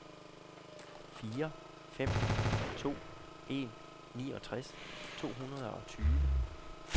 fire fem to en niogtres to hundrede og tyve